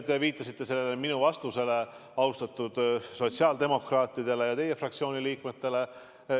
Te viitasite minu vastusele austatud sotsiaaldemokraatidele ja teie fraktsiooni liikmetele.